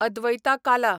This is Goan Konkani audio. अद्वैता काला